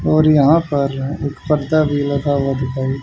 और यहां पर एक पर्दा भी लगा हुआ दिखाई--